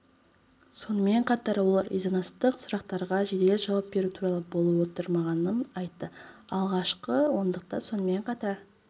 сонымен қатар ол резонанстық сұрақтарға жедел жауап беру туралы болып отырмағанын айтты алғашқы ондықта сонымен қатар